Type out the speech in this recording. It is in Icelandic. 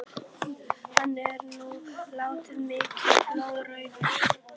Hann er nú dálítið mikið blóðrauður!